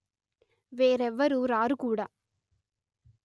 వేరెవ్వరు రారు కూడ